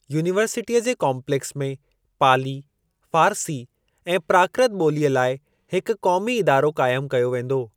यूनिवर्सिटीअ जे काम्पलेक्स में पाली, फ़ारसी ऐं प्राकृत ॿोलीअ लाइ हिकु क़ौमी इदारो क़ाइमु कयो वेंदो।